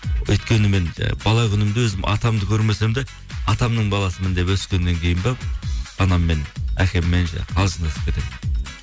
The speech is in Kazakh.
өйткені мен бала күнімде өзім атамды көрмесем де атамның баласымын деп өскеннен кейін бе анаммен әкеммен қалжыңдасып кетемін